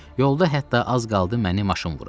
Yolda hətta az qaldı məni maşın vura.